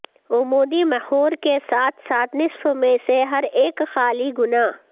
عمودی محور کے ساتھ ساتھ نصف میں سے ہر ایک خالی گنا